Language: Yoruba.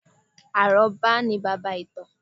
Àrọ́bá ni baba ìtàn